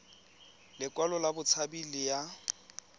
lekwalo la botshabi le ya